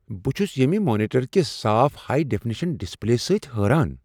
بہٕ چھس ییمہ مانیٹر کس صاف ہائی ڈیفنیشن ڈسپلے سۭتۍ حیران۔